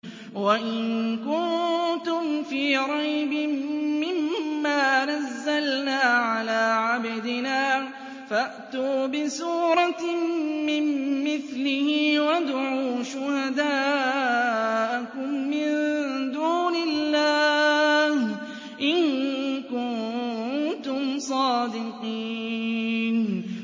وَإِن كُنتُمْ فِي رَيْبٍ مِّمَّا نَزَّلْنَا عَلَىٰ عَبْدِنَا فَأْتُوا بِسُورَةٍ مِّن مِّثْلِهِ وَادْعُوا شُهَدَاءَكُم مِّن دُونِ اللَّهِ إِن كُنتُمْ صَادِقِينَ